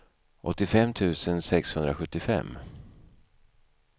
åttiofem tusen sexhundrasjuttiofem